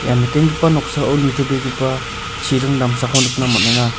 ia nikenggipa noksao nitobegipa chiring damsako nikna man·enga.